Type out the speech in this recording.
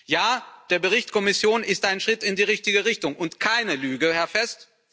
Ja, der Bericht der Kommission ist ein Schritt in die richtige Richtung und keine Lüge, Herr Fest.